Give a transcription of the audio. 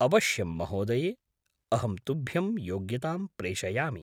अवश्यं, महोदये! अहं तुभ्यं योग्यतां प्रेषयामि।